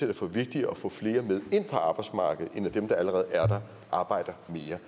det for vigtigere at få flere med ind på arbejdsmarkedet end at dem der allerede er der arbejder mere